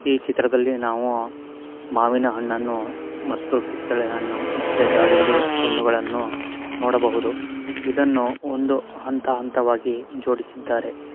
ಈ ಚಿತ್ರದಲ್ಲಿ ನಾವು ಮಾವಿನ ಹಣ್ಣುಗಳು ಮತ್ತೆ ಕಿತ್ಲೇ ಹಣ್ಣುಗಳು ಮತ್ತೆ ದಾಳಿಂಬೆ ಹಣ್ಣು ಗಳನ್ನು ನೋಡಬಹುದು ಮತ್ತೆ ಇದನ್ನು ಅಂತ ಅಂತ ವಾಗಿ ಜೋಡಿಸಿದರೆ.